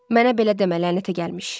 Mənə belə demə lənətə gəlmiş!